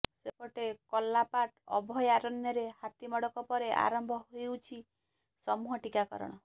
ସେପଟେ କର୍ଲାପାଟ ଅଭୟାରଣ୍ୟରେ ହାତୀ ମଡକ ପରେ ଆରମ୍ଭ ହୋଇଛି ସମୂହ ଟିକାକରଣ